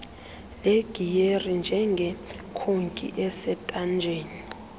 legiyeri njengekhoki esentanjeni